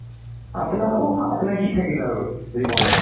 আপোনাৰ সুখ আপোনাৰ কি থাকিল আৰু জীৱনত